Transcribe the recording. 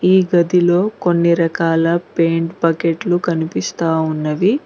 ఈ గదిలో కొన్ని రకాల పెయింట్ బకెట్లు కనిపిస్తా ఉన్నవి.